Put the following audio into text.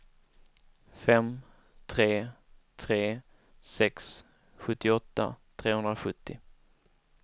fem tre tre sex sjuttioåtta trehundrasjuttio